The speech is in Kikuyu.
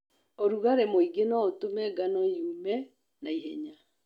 ũrugarĩ mũingĩ noũtũme ngano yũme naihenya.